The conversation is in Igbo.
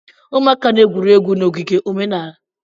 Ụmụaka na-egwuri egwu na ogige omenala.